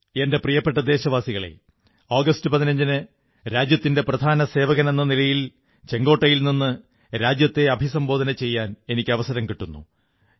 എന്റെ പ്രിയപ്പെട്ട ദേശവാസികളേ ആഗസ്റ്റ് 15 ന് രാജ്യത്തിന്റെ പ്രധാന സേവകനെ നിലയിൽ ചുവപ്പുകോട്ടയിൽ നിന്നു രാജ്യത്തെ അഭിസംബോധനചെയ്യാൻ എനിക്ക് അവസരം കിട്ടുന്നു